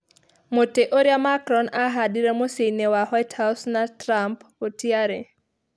Mũtĩ ũrĩa Macron aahaandire mũciĩ-inĩ wa White House na Trump gũtiarĩ